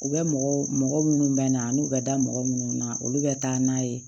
U bɛ mɔgɔ mɔgɔ minnu bɛ na n'u bɛ da mɔgɔ minnu na olu bɛ taa n'a ye